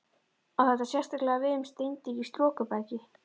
Á þetta sérstaklega við um steindir í storkubergi.